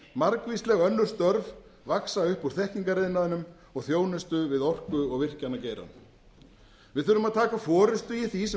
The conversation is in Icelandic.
margvísleg önnur störf vaxa upp úr þekkingariðnaðinum og þjónustu við orku og virkjanageirann við þurfum að taka forustu í því sem oft